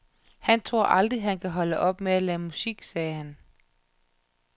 Han tror aldrig, han kan holde op med at lave musik, sagde han.